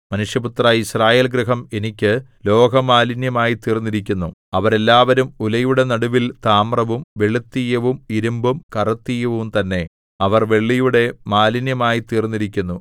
മനുഷ്യപുത്രാ യിസ്രായേൽഗൃഹം എനിക്ക് ലോഹമാലിന്യമായിത്തീർന്നിരിക്കുന്നു അവരെല്ലാവരും ഉലയുടെ നടുവിൽ താമ്രവും വെളുത്തീയവും ഇരിമ്പും കറുത്തീയവും തന്നെ അവർ വെള്ളിയുടെ മാലിന്യമായിത്തീർന്നിരിക്കുന്നു